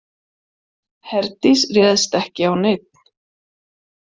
Herdís réðst ekki á neinn.